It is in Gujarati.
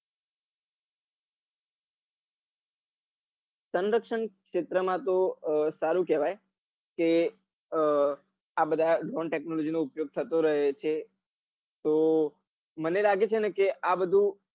સંરક્ષણ ક્ષેત્ર માં તો અ સારું કેવાય કે આ બધા નવા technology ઉપયોગ થતો રહે છે તો મને લાગે છે આ બધું